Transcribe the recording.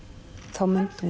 þá myndi hún